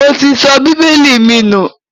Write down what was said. Mo ti sọ bíbélì mi nù